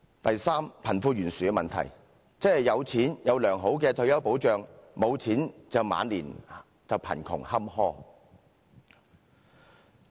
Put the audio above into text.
第三，貧富懸殊的問題，即有錢有良好的退休保障，無錢則晚年貧窮坎坷。